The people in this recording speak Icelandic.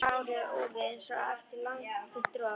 Hárið úfið einsog eftir langvinnt rok.